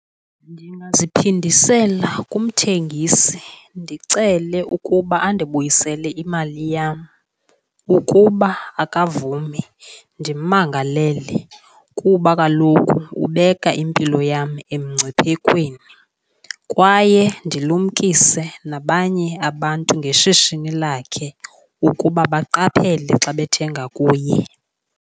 Ndingaziphindisela kumthengisi ndicele ukuba andibuyisele imali yam. Ukuba akavumi ndimmangalele kuba kaloku ubeka impilo yam emngciphekweni kwaye ndilumkise nabanye abantu ngeshishini lakhe ukuba baqaphele xa bethenga kuye.